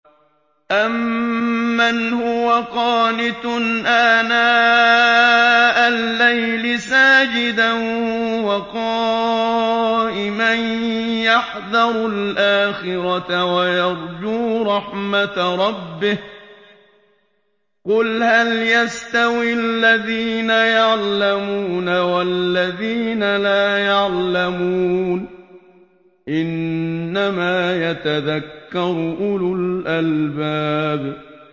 أَمَّنْ هُوَ قَانِتٌ آنَاءَ اللَّيْلِ سَاجِدًا وَقَائِمًا يَحْذَرُ الْآخِرَةَ وَيَرْجُو رَحْمَةَ رَبِّهِ ۗ قُلْ هَلْ يَسْتَوِي الَّذِينَ يَعْلَمُونَ وَالَّذِينَ لَا يَعْلَمُونَ ۗ إِنَّمَا يَتَذَكَّرُ أُولُو الْأَلْبَابِ